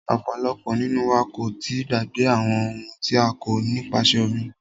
Ọ̀pọ̀lọpọ̀ nínú wa kò tíì gbàgbé àwọn ohun tí a kọ́ nípasẹ orin.